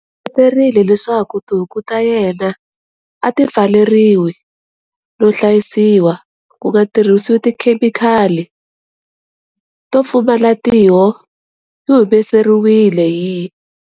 U engeterile leswaku tihuku ta yena a ti pfaleriwi no hlayisiwa ku nga tirhisiwi tikhemikali, to pfumala tiho-Yi humelerisiwile hi.